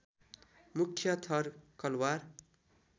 मुख्य थर कलवार